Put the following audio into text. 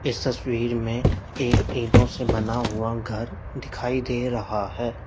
इस तस्वीर में एक ईंटों से बना हुआ घर दिखाई दे रहा है।